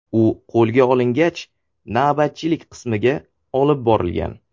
U qo‘lga olingach, navbatchilik qismga olib borilgan.